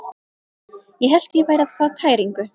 Ég hélt ég væri að fá tæringu.